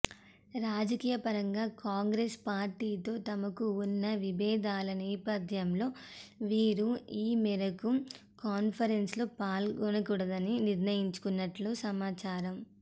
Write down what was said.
రాజకీయపరంగా కాంగ్రెస్ పార్టీతో తమకు ఉన్న విభేదాల నేపథ్యంలో వీరు ఈ మేరకు కాన్ఫరెన్స్లో పాల్గొనకూడదని నిర్ణయించుకున్నట్లు సమాచారం